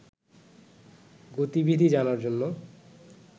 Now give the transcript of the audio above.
গতিবিধি জানার জন্য